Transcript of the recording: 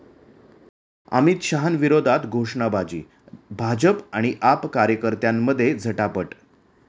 अमित शहांविरोधात घोषणाबाजी, भाजप आणि आप कार्यकर्त्यांमध्ये झटापट